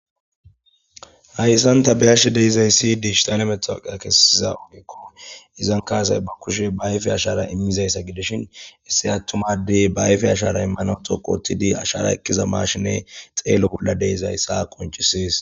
Haysan ta be'ishe dizaysi dijitale matoqiya kesiza ogeko izanka asay ba kushiye ba ayfe ashara imizayssa gidishin issi atuma adey ba ayfe ashara imanaw dhoqu othidi ashara ekiza mashine xelo bola de'izaysa qonc'ses.